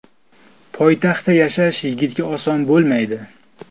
Poytaxtda yashash yigitga oson bo‘lmaydi.